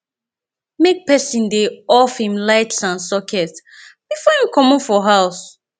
make person de off him lights and socets before him comot for house